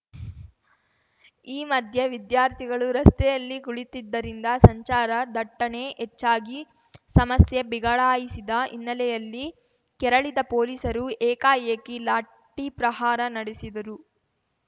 ಈ ಮಧ್ಯೆ ವಿದ್ಯಾರ್ಥಿಗಳು ರಸ್ತೆಯಲ್ಲಿ ಕುಳಿತಿದ್ದರಿಂದ ಸಂಚಾರ ದಟ್ಟಣೆ ಹೆಚ್ಚಾಗಿ ಸಮಸ್ಯೆ ಬಿಗಡಾಯಿಸಿದ ಹಿನ್ನೆಲೆಯಲ್ಲಿ ಕೆರಳಿದ ಪೊಲೀಸರು ಏಕಾಏಕಿ ಲಾಠಿ ಪ್ರಹಾರ ನಡೆಸಿದರು